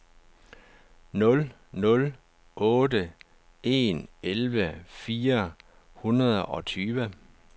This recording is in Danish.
nul nul otte en elleve fire hundrede og tyve